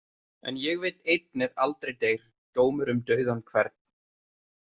En ég veit einn er aldrei deyr: dómur um dauðan hvern.